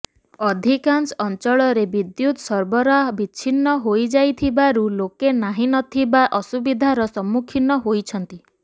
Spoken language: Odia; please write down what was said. ଅଧିକାଂଶ ଅଞ୍ଚଳରେ ବିଦ୍ୟୁତ ସରବରାହ ବିଚ୍ଛିନ୍ନ ହୋଇଯାଇଥିବାରୁ ଲୋକେ ନାହିଁ ନ ଥିବା ଅସୁବିଧାର ସମ୍ମୁଖୀନ ହୋଇଛନ୍ତି